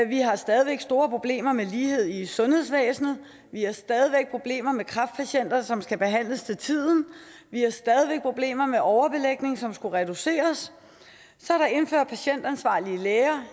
vi har stadig væk store problemer med lighed i sundhedsvæsenet vi har stadig væk problemer med kræftpatienter som skal behandles til tiden vi har stadig væk problemer med overbelægning som skulle reduceres så er der indført patientansvarlige læger